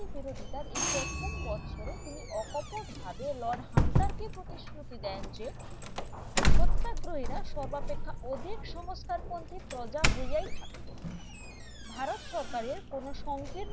বিরোধিতার এই প্রথম বৎসরে তিনি অকপট ভাবে লর্ড হান্টার কে প্রতিশ্রুতি দেন যে সত্যাগ্রহিরা সর্বাপেক্ষা অধিক সংস্কারপন্থী প্রজা হইয়াই থাকিবে ভারত সরকারের কোনো সংকীর্ণ